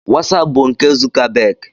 Wosapu bụ nke Zukabag.